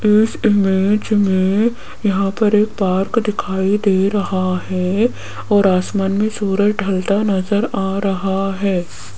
इस इमेज में यहां पर एक पार्क दिखाई दे रहा है और आसमान में सूरज ढलता नजर आ रहा है।